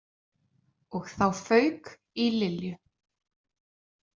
Og þá fauk í Lilju.